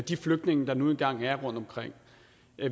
de flygtninge der nu engang er rundtomkring